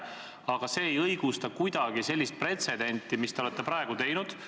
Aga see ei õigusta kuidagi pretsedenti, mille te praegu olete teinud.